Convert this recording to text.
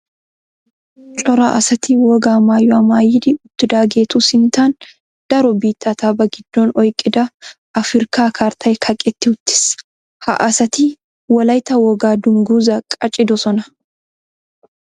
Cora asatti wogaa maayuwa maayiddi uttidagettu sinttan daro biittata ba gidon oyqqidda afirkka karttay kaqqetti uttis. Ha asatti wolaytta wogaa dungguza qaccidossonna.